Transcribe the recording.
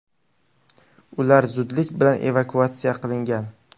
Ular zudlik bilan evakuatsiya qilingan.